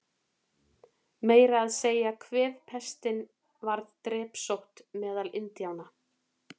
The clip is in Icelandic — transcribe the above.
Meira að segja kvefpestin varð drepsótt meðal Indíána.